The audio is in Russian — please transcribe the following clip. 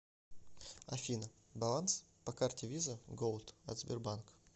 афина баланс по карте виза голд от сбербанк